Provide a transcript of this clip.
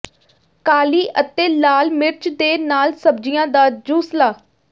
ਕਾਲੀ ਅਤੇ ਲਾਲ ਮਿਰਚ ਦੇ ਨਾਲ ਸਬਜ਼ੀਆਂ ਦਾ ਜੂਸਲਾ